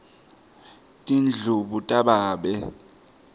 tindlubu tababe